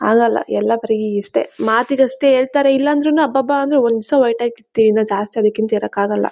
ಆಗಲ್ಲಾ ಎಲ್ಲಾ ಇಷ್ಟೇ ಮಾತಿಗಷ್ಟೇ ಹೇಳತರೇ ಇಲ್ಲಾದ್ರುನು ಅಬ್ಬ ಅಬ್ಬ ಒಂದ್ ಜಾಸ್ತಿ ಅದಕ್ಕಿಂತ ಇರಕ್ಕಾಗಲ್ಲಾ.